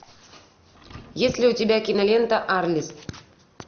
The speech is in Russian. есть ли у тебя кинолента арлисс